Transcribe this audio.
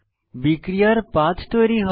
বিক্রিয়ার পাথ তৈরী হয়